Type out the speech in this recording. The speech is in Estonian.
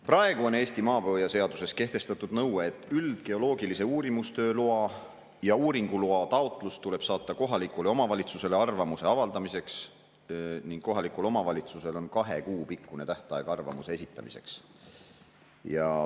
Praegu on Eesti maapõueseaduses kehtestatud nõue, et üldgeoloogilise uurimistöö loa ja uuringuloa taotlus tuleb saata kohalikule omavalitsusele arvamuse avaldamiseks ning kohalikul omavalitsusel on kahe kuu pikkune tähtaeg arvamuse esitamiseks.